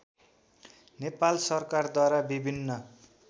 नेपाल सरकारद्वारा विभिन्न